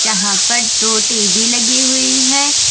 यहां पर दो टी_वी लगी हुई है।